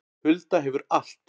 Hulda hefur allt